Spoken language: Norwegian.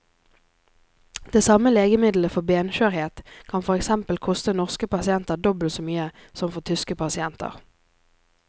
Det samme legemiddelet for benskjørhet kan for eksempel koste norske pasienter dobbelt så mye som for tyske pasienter.